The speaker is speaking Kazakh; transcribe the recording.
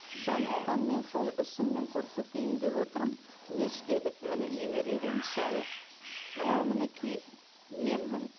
сондықтан мен сол ісіммен көрсетейін деп отырмын не істедік міне немереге мысалы мынау мінекей менмін